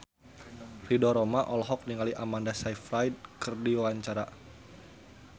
Ridho Roma olohok ningali Amanda Sayfried keur diwawancara